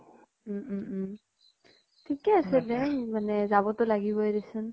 উম উম উম থিকে আছে দে মানে যাব তো লাগিবই দেচোন।